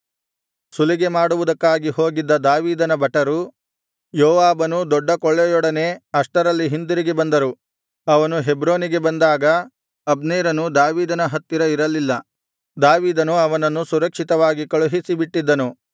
ಸುಲಿಗೆ ಮಾಡುವುದಕ್ಕಾಗಿ ಹೋಗಿದ್ದ ದಾವೀದನ ಭಟರು ಯೋವಾಬನೂ ದೊಡ್ಡ ಕೊಳ್ಳೆಯೊಡನೆ ಅಷ್ಟರಲ್ಲಿ ಹಿಂತಿರುಗಿ ಬಂದರು ಅವನು ಹೆಬ್ರೋನಿಗೆ ಬಂದಾಗ ಅಬ್ನೇರನು ದಾವೀದನ ಹತ್ತಿರ ಇರಲಿಲ್ಲ ದಾವೀದನು ಅವನನ್ನು ಸುರಕ್ಷಿತವಾಗಿ ಕಳುಹಿಸಿಬಿಟ್ಟಿದ್ದನು